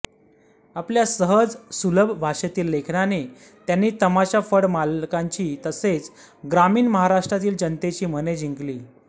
आपल्या सहज सुलभ भाषेतील लेखनाने त्यांनी तमाशा फड मालकांची तसेच ग्रामीण महाराष्ट्रातील जनतेची मने जिंकली